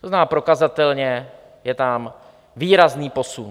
To znamená, prokazatelně je tam výrazný posun.